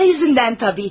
Pul ucbatından əlbəttə.